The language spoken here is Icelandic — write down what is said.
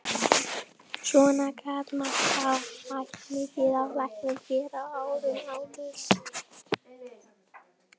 Svona gat mætt mikið á læknunum hér á árum áður.